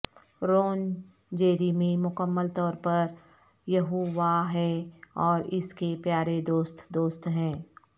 رون Jeremy مکمل طور پر یہوواہ ہے اور اس کے پیارے دوست دوست ہیں